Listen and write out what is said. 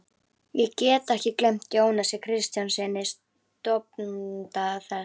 Ég get ekki gleymt Jónasi Kristjánssyni, stofnanda þess.